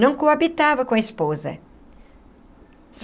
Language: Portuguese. Não coabitava com a esposa.